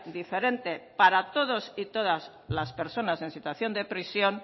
diferente para todos y todas las personas en situación de prisión